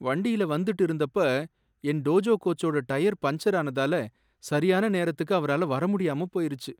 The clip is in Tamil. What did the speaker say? வண்டியில வந்துட்டு இருந்தப்ப என் டோஜோ கோச்சோட டயர் பஞ்சர் ஆனதால சரியான நேரத்துக்கு அவரால வர முடியாம போயிருச்சு.